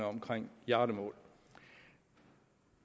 omkring hjardemål